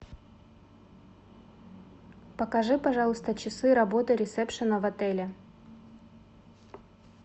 покажи пожалуйста часы работы ресепшена в отеле